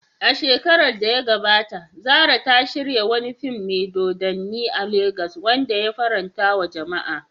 A shekarar da ta gabata, Zarah ta shirya wani fim mai dodanni a Legas wanda ya farantawa jama'a.